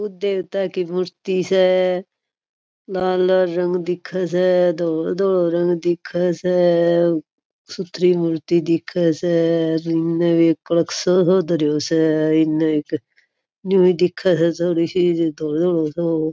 वो देवता की मूर्ति स लाल लाल रंग दिखे स धोळो धोळो रंग दिखे स सुथरी मूर्ति दिखे स --